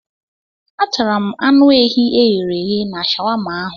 Atara m anụ ehi e ghere eghe na shawama ahụ.